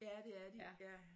Ja det er de ja